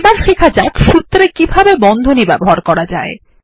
এবার শেখার যাক সুত্রে কিভাবে বন্ধনী ব্যবহার করা যায়